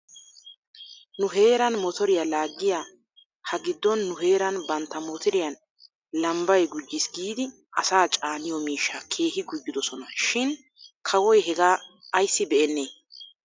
Nu heeran motoriyaa laaggiyaa hagiddon nu heeran bantta motiriyaan lambbay gujjis giidi asaa caaniyoo miishshaa keehi gujjidosona shin kawoy hegaa ayssi be'enee?